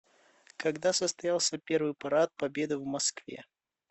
когда состоялся первый парад победы в москве